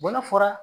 Bɔla fɔra